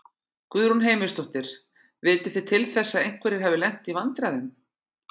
Guðrún Heimisdóttir: Vitið þið til þess að einhverjir hafi lent í vandræðum?